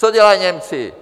Co dělají Němci?